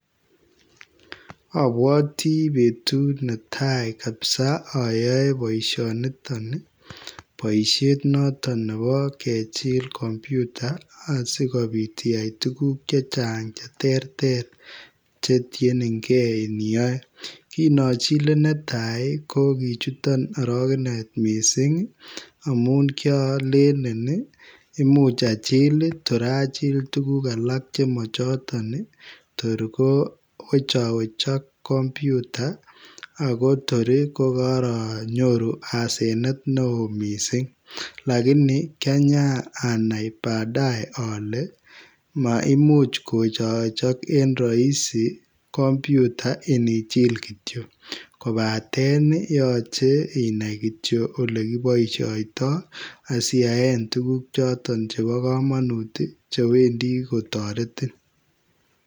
Obwoti betut netai kabisa oyoe boisioniton nii , boishet noton nebo kechil kompyuta ii asikobit iyai tuguk chechang cheterter chetienengee iniyoe , kin ochile netaa kokichuton orokenet misink amun kiolele imuch achil torachil tuguk chemochoton ii tor kowechowecho kompyuta akoto kokoonyoru asenet neo misink lakini kianyanai baadaye ole maimuch kowechowechok en roisi kompyuta inichil kityok, kobaten yoche inai kityok yekiboishoitoi asiyaen tuguk choton chebo komonut chewendi kotoreti.